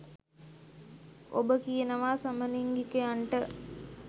ඔබ කියනවා සමලිංගිකයන්ට